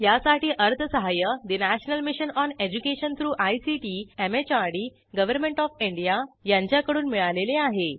यासाठी अर्थसहाय्य national mission on education through ICT MHRD government of India यांच्याकडून मिळालेले आहे